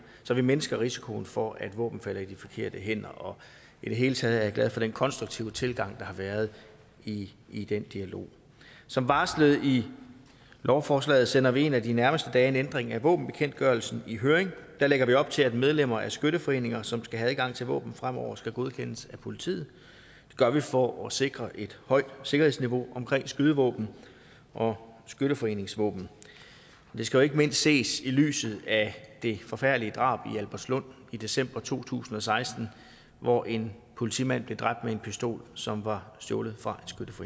så vi mindsker risikoen for at våben falder i de forkerte hænder og i det hele taget er jeg glad for den konstruktive tilgang der har været i i den dialog som varslet i lovforslaget sender vi en af de nærmeste dage en ændring af våbenbekendtgørelsen i høring der lægger vi op til at medlemmer af skytteforeninger som skal have adgang til våben fremover skal godkendes af politiet det gør vi for at sikre et højt sikkerhedsniveau omkring skydevåben og skytteforeningsvåben det skal jo ikke mindst ses i lyset af det forfærdelige drab i albertslund i december to tusind og seksten hvor en politimand blev dræbt med en pistol som var stjålet fra